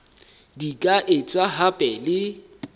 di ka etswa hape le